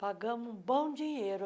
Pagamos um bom dinheiro.